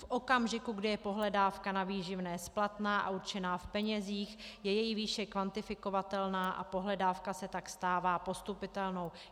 V okamžiku, kdy je pohledávka na výživné splatná a určená v penězích, je její výše kvantifikovatelná a pohledávka se tak stává postupitelnou.